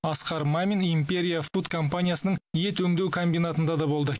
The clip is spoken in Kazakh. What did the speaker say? асқар мамин империя фуд компаниясының ет өңдеу комбинатында да болды